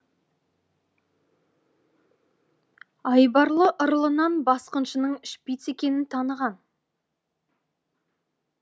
айбарлы ырылынан басқыншының шпиц екенін таныған